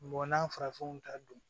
n'a farafinw ta don